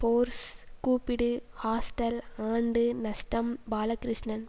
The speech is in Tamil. ஃபோர்ஸ் கூப்பிடு ஹாஸ்டல் ஆண்டு நஷ்டம் பாலகிருஷ்ணன்